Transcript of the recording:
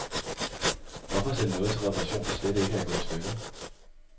Hvorfor sende noget til reparation, der slet ikke er gået i stykker.